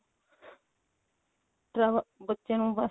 travel ਬੱਚੇ ਨੂੰ ਬਸ